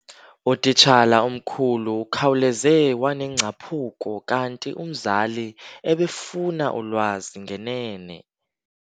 Utitshala omkhulu ukhawuleze wanengcaphuko kanti umzali ebefuna ulwazi ngenene.